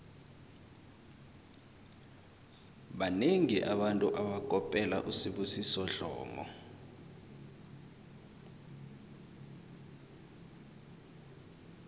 banengi abantu abakopela usibusiso dlomo